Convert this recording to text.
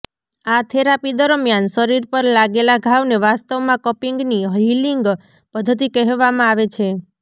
આ થેરાપી દરમિયાન શરીર પર લાગેલા ઘાવને વાસ્તવમાં કપિંગની હીલિંગ પદ્ધતિ કહેવામાં આવે છે